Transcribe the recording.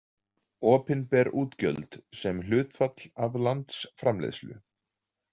Opinber útgjöld sem hlutfall af landsframleiðslu.